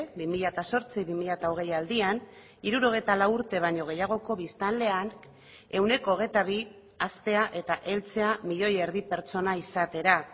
bi mila zortzi bi mila hogei aldian hirurogeita lau urte baino gehiagoko biztanlean ehuneko hogeita bi haztea eta heltzea milioi erdi pertsona izatera